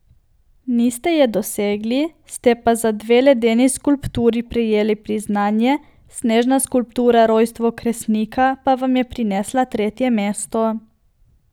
Niste je dosegli, ste pa za dve ledeni skulpturi prejeli priznanje, snežna skulptura Rojstvo Kresnika pa vam je prinesla tretje mesto.